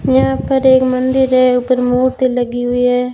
यहां पर एक मंदिर है ऊपर मूर्ति लगी हुई है।